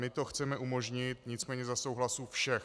My to chceme umožnit, nicméně za souhlasu všech.